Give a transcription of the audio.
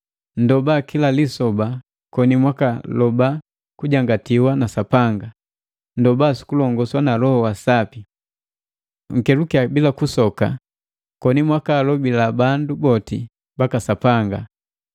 Nndoba kila lisoba, koni mwakaloba kujangatiwa na Sapanga. Nndoba sukulongoswa na Loho wa Sapi. Nkelukiya bila kusoka koni mwakaalobila bandu boti baka Sapanga.